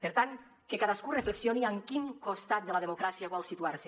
per tant que cadascú reflexioni en quin costat de la democràcia vol situarse